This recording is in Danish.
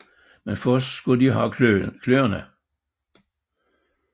Men først skulle de have kløerne